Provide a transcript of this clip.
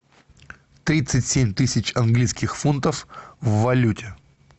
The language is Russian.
тридцать семь тысяч английских фунтов в валюте